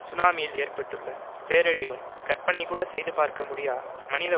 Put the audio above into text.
சுனாமியில் ஏற்பட்டுள்ள பேரழிவும் கற்பனைகூடச் செய்து பார்க்கமுடியா மனித